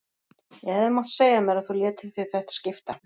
Ég hefði mátt segja mér að þú létir þig þetta skipta.